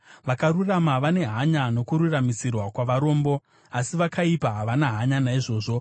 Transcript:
Vakarurama vane hanya nokururamisirwa kwavarombo, asi vakaipa havana hanya naizvozvo.